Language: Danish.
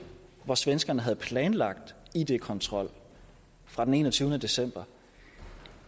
hvor svenskerne havde planlagt id kontrol fra den enogtyvende december